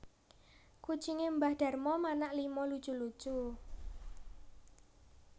Kucinge mbah Darmo manak lima lucu lucu